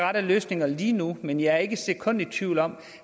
rette løsninger lige nu men jeg er ikke et sekund i tvivl om